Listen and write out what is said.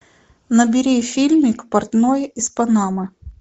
набери фильмик портной из панамы